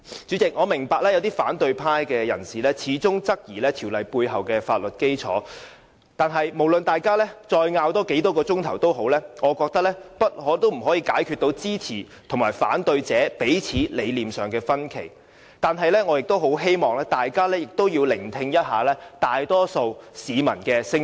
主席，我明白有些反對派人士始終質疑《條例草案》背後的法律基礎，無論大家爭拗再久，我覺得也不可以解決支持和反對者彼此在理念上的分歧，但我希望大家也要聆聽一下大多數市民的聲音。